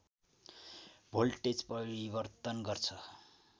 voltage परिवर्तन गर्छ